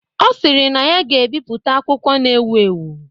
Ọ sịrị na ya ga-ebipụta akwụkwọ na ewu ewu.